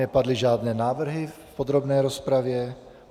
Nepadly žádné návrhy v podrobné rozpravě.